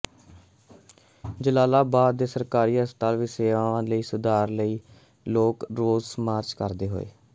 ਜਲਾਲਾਬਾਦ ਦੇ ਸਰਕਾਰੀ ਹਸਪਤਾਲ ਵਿਚ ਸੇਵਾਵਾਂ ਦੇ ਸੁਧਾਰ ਲਈ ਲੋਕ ਰੋਸ ਮਾਰਚ ਕਰਦੇ ਹੋਏ